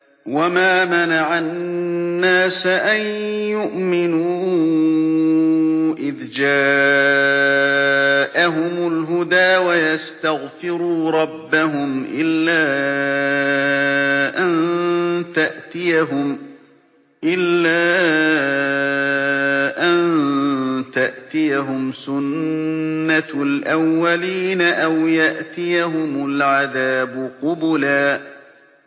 وَمَا مَنَعَ النَّاسَ أَن يُؤْمِنُوا إِذْ جَاءَهُمُ الْهُدَىٰ وَيَسْتَغْفِرُوا رَبَّهُمْ إِلَّا أَن تَأْتِيَهُمْ سُنَّةُ الْأَوَّلِينَ أَوْ يَأْتِيَهُمُ الْعَذَابُ قُبُلًا